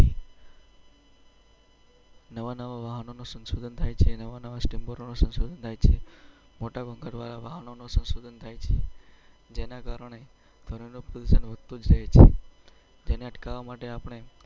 નવાં નવાં વાહનો સંશોધન થાય છે. મોટા કરવા વાહનો સંશોધન થાય છે. જેના કારણે. તેને અટકાવવા માટે આપણે.